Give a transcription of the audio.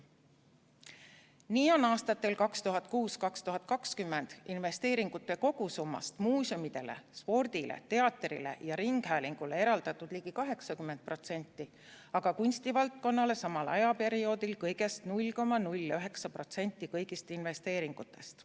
Nii oli aastatel 2006–2020 investeeringute kogusummast muuseumidele, spordile, teatrile ja ringhäälingule eraldatud ligi 80%, aga kunstivaldkonnale samal ajaperioodil kõigest 0,09% kõigist investeeringutest.